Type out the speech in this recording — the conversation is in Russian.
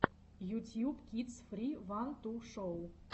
ютьюб кидс фри ван ту шоу